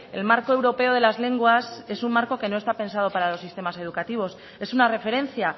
el marco europeo de las lenguas es un marco que no está pensado para los sistemas educativos es una referencia